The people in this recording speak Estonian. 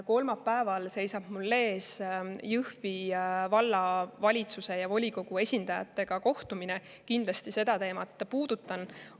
Kolmapäeval seisab mul ees Jõhvi Vallavalitsuse ja volikogu esindajatega kohtumine, kus ma kindlasti seda teemat puudutan.